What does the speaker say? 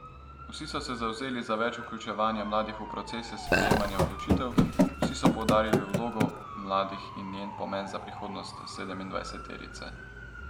Vsi so se zavzeli za več vključevanja mladih v procese sprejemanja odločitev, vsi so poudarili vlogo mladih in njen pomen za prihodnost sedemindvajseterice.